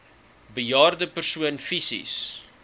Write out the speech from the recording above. bejaarde persoon fisies